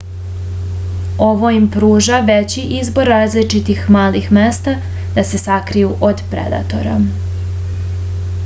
ovo im pruža veći izbor različitih malih mesta da se sakriju od predatora